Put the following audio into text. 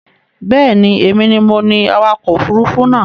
Bẹ́ẹ̀ ni, èmi ni awakọ̀ òfurufú náà.